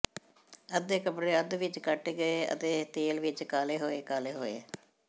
ਅੱਧੇ ਕੱਪੜੇ ਅੱਧ ਵਿਚ ਕੱਟੇ ਗਏ ਅਤੇ ਤੇਲ ਵਿਚ ਕਾਲੇ ਹੋਏ ਕਾਲੇ ਹੋਏ